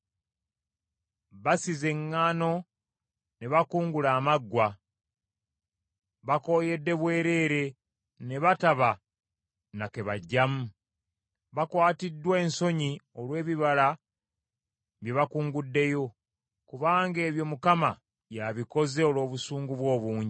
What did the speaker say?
Basize eŋŋaano, ne bakungula amaggwa. Bakooyedde bwereere ne bataba na kebaggyamu. Bakwatiddwa ensonyi olw’ebibala bye bakunguddeyo, kubanga ebyo Mukama y’abikoze olw’obusungu bwe obungi.”